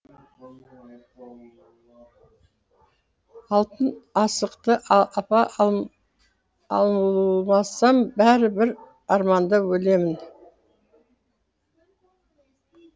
алтын асықты алмасам бәрі бір арманда өлемін